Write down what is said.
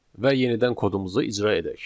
Və yenidən kodumuzu icra edək.